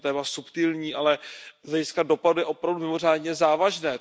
Je to téma subtilní, ale z hlediska dopadu opravdu mimořádně závažné.